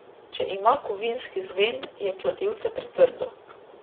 Če ima kovinski zven, je kladivce pretrdo.